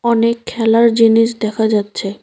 অনেক খেলার জিনিস দেখা যাচ্ছে।